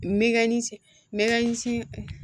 N bɛ ka ni n bɛ ka nisi